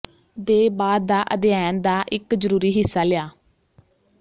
ਦੇ ਬਾਅਦ ਦਾ ਅਧਿਐਨ ਦਾ ਇੱਕ ਜ਼ਰੂਰੀ ਹਿੱਸਾ ਲਿਆ